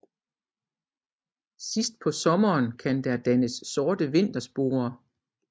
Sidst på sommeren kan der dannes sorte vintersporer